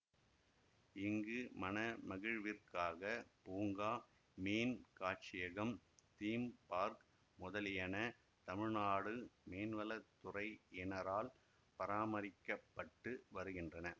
இங்கு மனமகிழ்விற்காக பூங்காமீன் காட்சியகம் theme park முதலியன தமிழ்நாடு மீன்வளத்துறையினரால் பராமரிக்க பட்டு வருகின்றன